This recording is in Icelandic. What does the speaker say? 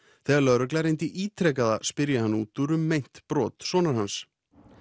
þegar Lögregln reyndi ítrekað að spyrja hann útúr um meint brot sonar hans